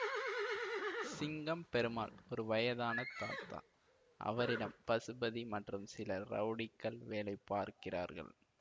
சிங்கம் பெருமாள் ஒரு வயதான தாதா அவரிடம் பசுபதி மற்றும் சில ரவுடிகள் வேலை பார்க்கிறார்கள்